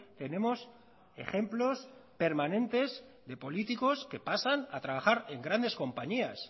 tenemos ejemplos permanentes de políticos que pasan a trabajar en grandes compañías